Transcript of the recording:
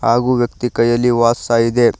ಹಾಗೂ ವ್ಯಕ್ತಿ ಕೈಯಲ್ಲಿ ವಾಚ್ ಸಹ ಇದೆ.